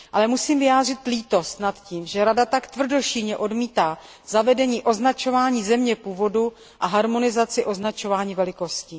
Musím však vyjádřit lítost nad tím, že Rada tak tvrdošíjně odmítá zavedení označování země původu a harmonizaci označování velikostí.